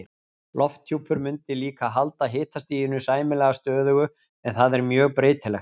Lofthjúpur mundi líka halda hitastiginu sæmilega stöðugu en það er mjög breytilegt.